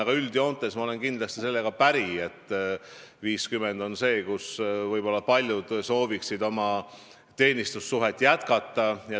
Aga üldjoontes ma olen kindlasti sellega päri, et 50 on vanus, kui võib-olla paljud sooviksid oma teenistussuhet jätkata.